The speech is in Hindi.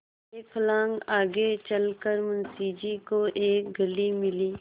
एक फर्लांग आगे चल कर मुंशी जी को एक गली मिली